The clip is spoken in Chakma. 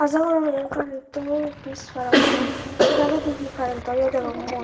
jogon yen karento office parapang dagedi hee karentoyo degong mui.